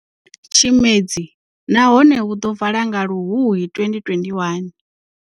Tshimedzi nahone hu ḓo vala nga Luhuhi 2021.